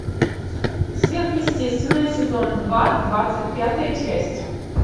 сверхъестественное сезон два двадцать пятая часть